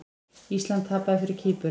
Ísland tapaði fyrir Kýpur